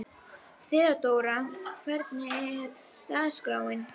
Þeódóra, hvernig er dagskráin?